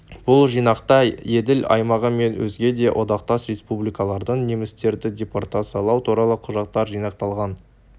бұл жинақта еділ аймағы мен өзге де одақтас республикалардан немістерді депортациялау туралы құжаттар жинақталған